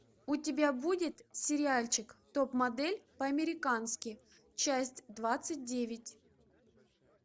у тебя будет сериальчик топ модель по американски часть двадцать девять